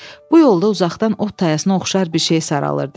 Bu yolda uzaqdan ot tayasına oxşar bir şey saralırdı.